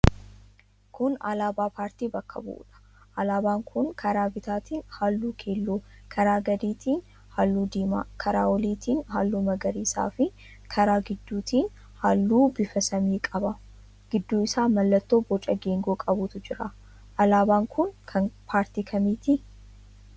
Kun alaabaa paartii bakka bu'uudha. Alaabaan kun karaa bitaatiin halluu keelloo, karaa gadiitiin halluu diimaa, karaa oliitiin halluu magariisaafi karaa gidduutiin halluu bifa samii qaba. Gidduu isaa mallattoo boca geengoo qabutu jira. Alaabaan kun kan paartii kamiiti?